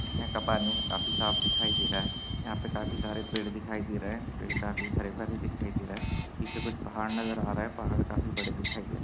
यहा का पानी काफी साफ दिखाई दे रहा है यहा पे काफी पेड़ दिखाई दे रहे पेड़ काफी हरे भरे दिखाई दे रहे पीछे कुछ पहाड़ नजर आ रहे पहाड़ काफी बड़े दिखाई दे र--